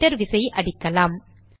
enter விசையை அடிக்கலாம்